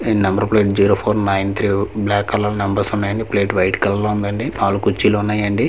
ఈడ number plate zero four nine three black colour numbers ఉన్నాయి అండి ప్లేట్ వైట్ కలర్ లో ఉందండి నాలుగు కుర్చీలు ఉన్నాయండి .]